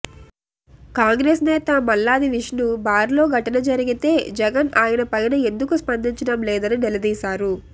కాంగ్రెస్ నేత మల్లాది విష్ణు బార్లో ఘటన జరిగితే జగన్ ఆయన పైన ఎందుకు స్పందించడం లేదని నిలదీశారు